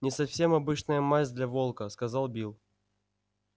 не совсем обычная масть для волка сказал билл